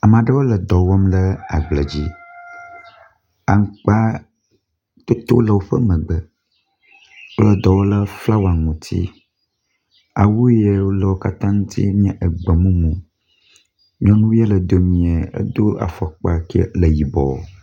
Ame aɖewo le dɔ wɔm lɖe agble dzi. Aŋkpa toto le woƒe megbe, wole dɔ wɔm le flawa ŋuti. Awu ye le wo katã ŋuti nye egbemumu. Nyɔnu ye le domie, edo afɔkpa kie le yibɔ.